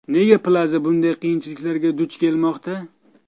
Nega Plaza bunday qiyinchiliklarga duch kelmoqda?